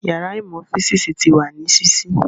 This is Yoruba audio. Yàrá ìmọ̀ físìsì ti wà ní sísí